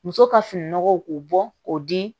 Muso ka fini nɔgɔw k'u bɔ k'o di